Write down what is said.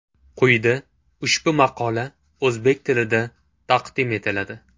Quyida ushbu maqola o‘zbek tilida taqdim etiladi.